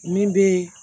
Min bɛ